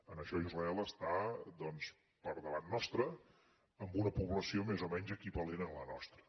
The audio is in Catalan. en això israel està per davant nostre amb una població més o menys equivalent a la nostra